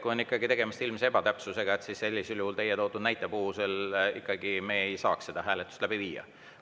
Kui on ikkagi tegemist ilmse ebatäpsusega, siis sellisel juhul teie toodud näite puhul me ei saaks seda hääletust läbi viia.